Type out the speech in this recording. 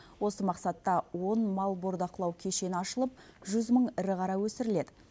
осы мақсатта он мал бордақылау кешені ашылып жүз мың ірі қара өсіріледі